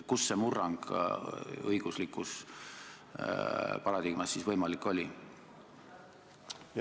Kuidas see murrang õiguslikus paradigmas siis võimalik oli?